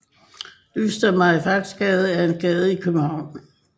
Øster Farimagsgade er en gade i København